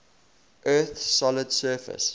earth's solid surface